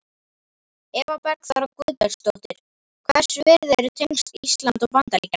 Eva Bergþóra Guðbergsdóttir: Hvers virði eru tengsl Íslands og Bandaríkjanna?